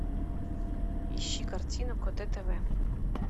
ищи картину коте тв